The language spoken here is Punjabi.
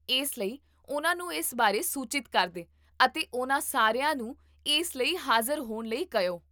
ਇਸ ਲਈ, ਉਹਨਾਂ ਨੂੰ ਇਸ ਬਾਰੇ ਸੂਚਿਤ ਕਰ ਦੇ ਅਤੇ ਉਹਨਾਂ ਸਾਰਿਆਂ ਨੂੰ ਇਸ ਲਈ ਹਾਜ਼ਰ ਹੋਣ ਲਈ ਕਹਿਓ